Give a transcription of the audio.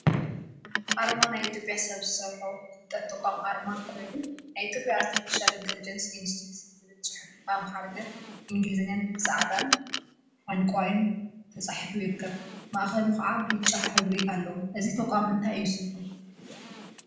አርማ ናይ ኢትዮጵያ ሰብ ዝሰርሖ ፍልጠት ተቋም አርማ ኮይኑ፤ ናይ ኢትዮጵያ አርቲፊሻል ኢንተለጀንስ ኢንስቲትዩት ዝብል ፅሑፍ ብአምሓርኛን እንግሊዘኛን ብፃዕዳን ዕንቋን ተፃሒፉ ይርከብ፡፡ ማእከሉ ከዓ ብጫ ሕብሪ አለዎ፡፡ እዚ ተቋም እንታይ እዩ ስርሑ?